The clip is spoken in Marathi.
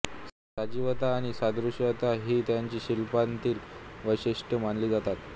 सजीवता आणि सादृश्यता ही त्यांच्या शिल्पांतील वैशिष्ट्ये मानली जातात